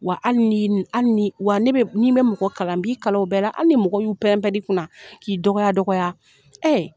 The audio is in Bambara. Wa hali ni hali ni wa ne bɛ nin bɛ mɔgɔ kalan n b'i kalan o bɛɛ hali ni mɔgɔw y'u pɛrɛn pɛrɛn i kunna k'i dɔgɔya dɔgɔya